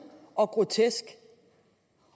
og grotesk